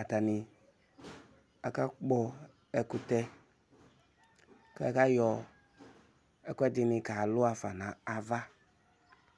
Atani aka kpɔ ɛkʋtɛ, kʋ akayɔ ɛkʋ ɛdɩnɩ ka luɣa nafa nʋ ava